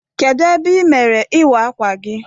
Kedụ ebe ị mere ịwa akwa gi?